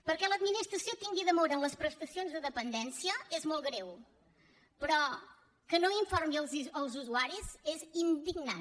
perquè que l’administració tingui demora en les prestacions de dependència és molt greu però que no n’informi els usuaris és indignant